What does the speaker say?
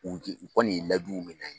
K'u u kɔni ye layiduw minɛ an ye